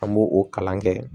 An b'o o kalan kɛ